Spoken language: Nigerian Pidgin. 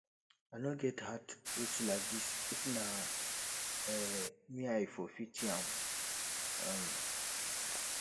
i no get heart reach like this if na um me i for pity am um